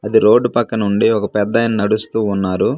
అది రోడ్డు పక్కనుండి ఒక పెద్దాయన నడుస్తూ ఉన్నారు.